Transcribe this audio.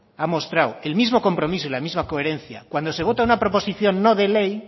ha mostrado el mismo compromiso y la misma coherencia cuando se vota una proposición no de ley